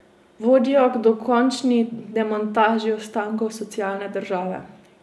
Vodijo k dokončni demontaži ostankov socialne države.